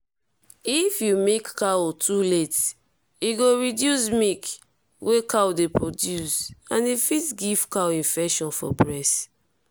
if you milk cow too late e go reduce milk wey cow dey produce and e fit give cow infection for breast.